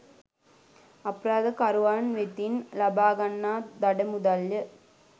අපරාධකරුවන් වෙතින් ලබා ගන්නා දඩ මුදල් ය.